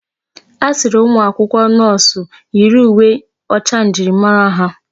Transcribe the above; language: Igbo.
A sịrị umụ akwụkwọ nọọsụ yiri uwe ọcha njirimara ha.